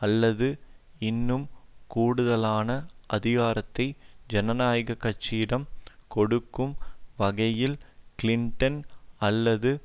அல்லது இன்னும் கூடுதலான அதிகாரத்தை ஜனநாயக கட்சியிடம் கொடுக்கும் வகையில் கிளின்டன் அல்லது